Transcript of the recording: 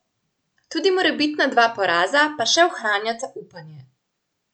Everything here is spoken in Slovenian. Tudi morebitna dva poraza pa še ohranjata upanje.